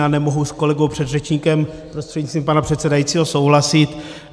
Já nemohu s kolegou předřečníkem prostřednictvím pana předsedajícího souhlasit.